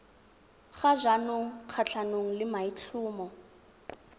ga jaanong kgatlhanong le maitlhomo